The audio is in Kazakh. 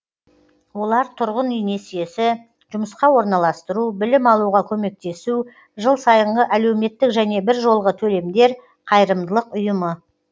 олар тұрғын үй несиесі жұмысқа орналастыру білім алуға көмектесу жыл сайынғы әлеуметтік және біржолғы төлемдер қайырымдылық ұйымы